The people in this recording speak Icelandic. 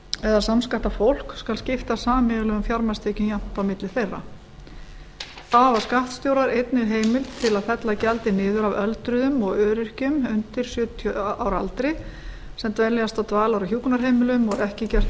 eða samskattað fólk skal skipta sameiginlegum fjármagnstekjum jafnt á milli þeirra þá hafa skattstjórar einnig heimild til að fella gjaldið niður af öldruðum og öryrkjum undir sjötíu ára aldri sem dveljast á dvalar og hjúkrunarheimilum og ekki er gert